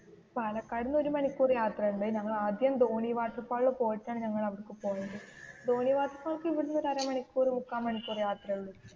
പാലക്കാടിനു ഒരു മണിക്കൂർ യാത്ര ഉണ്ട് ഞങ്ങൾ ആദ്യം ധോണി വാട്ടർ ഫാളിൽ പോയിട്ടാണ് ഞങ്ങൾ അവിടേക്കു പോയത് ധോണി വാട്ടർ ഫാലിലേക്കു ഇവിടുന്നു ഒരു അര മണിക്കൂർ മുക്കാൽ മണിക്കൂർ യാത്രയെ ഉള്ളു